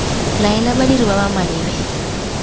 laela badiri ba ba maleba